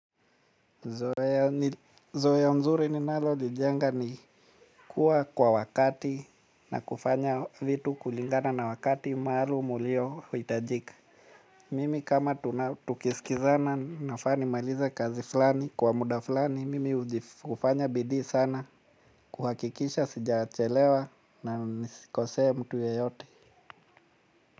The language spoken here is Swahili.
Zoea mzuri ninalolijenga ni kuwa kwa wakati na kufanya vitu kulingana na wakati maalum uliohitajika. Mimi kama tukisikizana nafaa nimalize kazi fulani kwa muda fulani, mimi huji hufanya bidii sana kuhakikisha sijachelewa na nisikosee mtu yeyote.